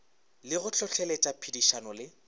le go hlohloletša phedišano le